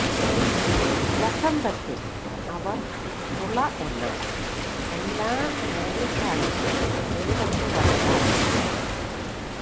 വസന്തത്തിൽ അവർ മുള എന്നാൽ എല്ലാ വേനൽക്കാലത്ത് ഒരിടത്ത് വളരാൻ വേണം